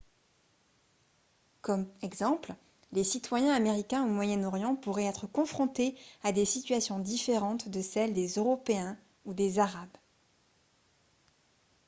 comme exemple les citoyens américains au moyen-orient pourraient être confrontés à des situations différentes de celles des européens ou des arabes